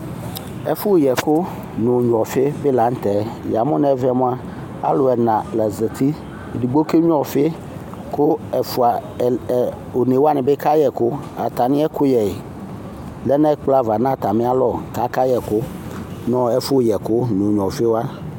Ɛfʋ yɛkʋ n'ognua ɔfi di la n'tɛ Yamʋ nɛvɛ mʋa alʋ ɛna la zati Edigbo kegnua ɔfi kʋ ɛfʋa ɛ onewani bi kayɛkʋ Atami ɛkʋyɛ lɛ n'ɛkplɔ ava n'atamialɔ k'aka yɛkʋ nɛfʋ yɛkʋ n'ognua ɔfiwa